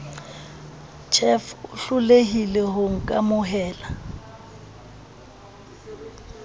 tjhev o hlolehile ho nkamohela